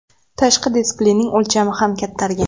Tashqi displeyning o‘lchami ham kattargan.